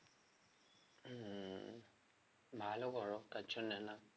হম ভালো করো